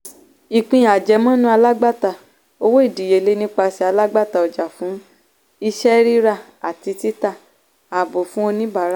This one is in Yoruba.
ìpín àjẹmọ́nú alágbàtà - owó ìdíyelé nipasẹ̀ alágbàtà ọjà fún iṣẹ́ ríra àti títa àábò fún oníbàárà.